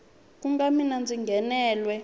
ku na mina ndzi nghenelwe